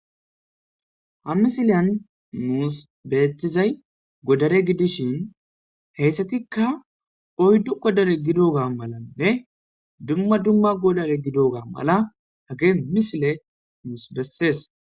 ha misiliyan nuus beeththizay godare gidishin heyssatikka oyddu godare gidoga malanne dumma dumma godare gidoga mala hage misile nuus bessees